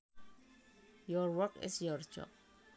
Your work is your job